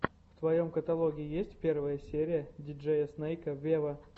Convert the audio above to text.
в твоем каталоге есть первая серия диджея снейка вево